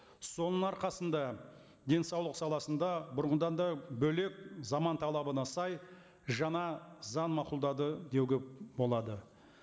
соның арқасында денсаулық саласында бұрынғыдан да бөлек заман талабына сай жаңа заң мақұлдады деуге болады